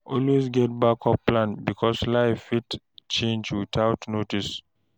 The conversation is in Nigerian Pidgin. Always get backup plan because life fit change without notice